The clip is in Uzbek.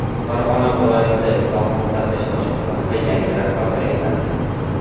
Farg‘ona viloyati Sog‘liqni saqlash boshqarmasiga yangi rahbar tayinlandi.